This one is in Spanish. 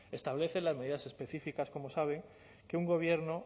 establece las medidas específicas como saben que un gobierno